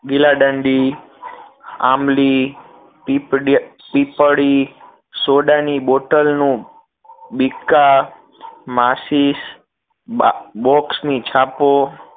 ગીલાદાંડી આંબલી પીપડ પીપડી સોડા ની બૉટલ નું બિકા માચીસ box ની છાપો